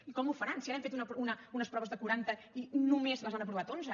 i com ho faran si ara hem fet unes proves de quaranta i només les han aprovat onze